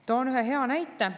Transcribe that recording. Toon ühe hea näite.